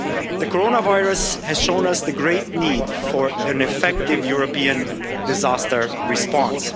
The coronavirus has shown us the great need for an effective European disaster response.